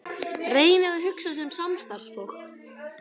Reynið að hugsa sem samstarfsfólk.